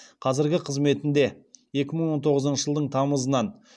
қазіргі қызметінде екі мың он тоғызыншы жылдың тамызынан